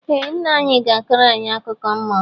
Ee ńnà anyị gá akọro anyị akụkọ mmụọ.